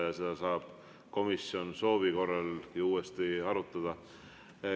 Seda teemat saab komisjon soovi korral uuesti arutada.